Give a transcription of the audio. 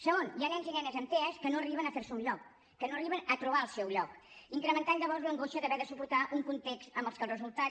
segon hi ha nens i nenes amb tea que no arriben a fer se un lloc que no arriben a trobar el seu lloc incrementant llavors l’angoixa d’haver de suportar un context en el que el resultat